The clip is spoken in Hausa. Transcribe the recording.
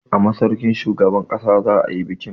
A masaukin shugaban ƙasa za a yi bikin.